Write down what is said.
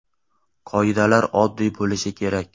Qoidalar oddiy bo‘lishi kerak.